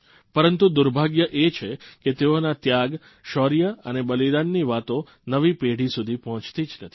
પરંતુ દુર્ભાગ્ય એ છે કે તેઓના ત્યાગ શૌર્ય અને બલિદાનની વાતો નવી પેઢી સુધી પહોંચી જ નથી